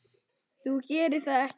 Þú gerir það ekki!